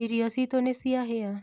Irio citũ nĩciahĩa.